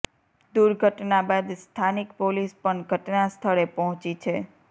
દૂર્ઘટના બાદ સ્થાનિક પોલિસ પણ ઘટના સ્થળે પહોંચી છે